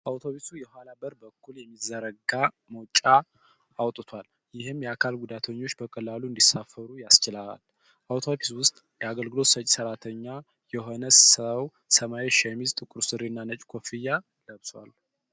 አውቶቡሱ የኋላ በር በኩል የሚዘረጋ መወጣጫአውጥቷል፤ ይህም የአካል ጉዳተኞች በቀላሉ እንዲሳፈሩ ያስችላል። አውቶቡስ ውስጥ የአገልግሎት ሰጪ (ሰራተኛ) የሆነ ሰው ሰማያዊ ሸሚዝ፣ ጥቁር ሱሪ እና ነጭ ኮፍያ ለብሷል።